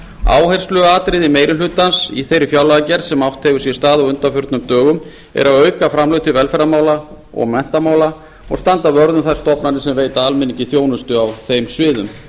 áhersluatriði meiri hlutans í þeirri fjárlagagerð sem átt hefur sér stað á undanförnum dögum er að auka framlög til velferðarmála og menntamála og standa vörð um þær stofnanir sem veita almenningi þjónustu á þeim sviðum